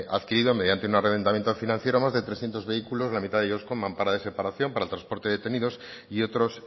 adquirido mediante un arrendamiento financiero más de trescientos vehículos la mitad de ellos con mampara de separación para el transporte de detenidos y otros